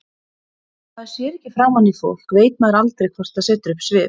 Þegar maður sér ekki framan í fólk veit maður aldrei hvort það setur upp svip.